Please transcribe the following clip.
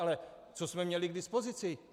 Ale co jsme měli k dispozici?